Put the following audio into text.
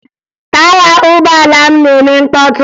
Taya ụgbọala m na-eme mkpọtụ